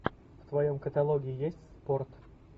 в твоем каталоге есть спорт